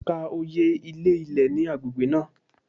Ka oye ilé ilẹ̀ ní agbègbè náà.!